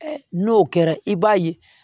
N'o kɛra i b'a ye